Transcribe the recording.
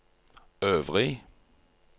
øvrig